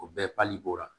O bɛɛ pali b'o la